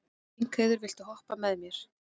Lyngheiður, viltu hoppa með mér?